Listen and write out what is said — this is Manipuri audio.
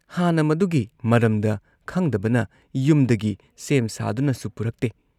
ꯍꯥꯟꯅ ꯃꯗꯨꯒꯤ ꯃꯔꯝꯗ ꯈꯪꯗꯕꯅ ꯌꯨꯝꯗꯒꯤ ꯁꯦꯝ ꯁꯥꯗꯨꯅꯁꯨ ꯄꯨꯔꯛꯇꯦ ꯫